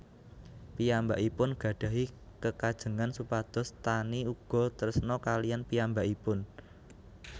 Piyambakipun gadhahi kekajengan supados Taani uga tresna kaliyan piyambakipun